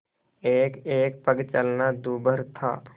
एकएक पग चलना दूभर था